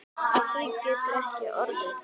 Af því getur ekki orðið.